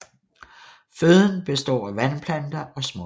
Føden består af vandplanter og smådyr